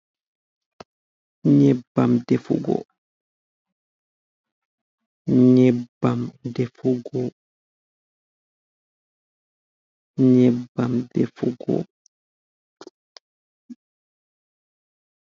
Nyebbam defugo! Nyebbam defugo! Nyebbam defugo!